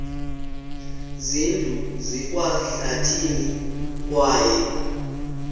zindlu zikwasehlathini kwaye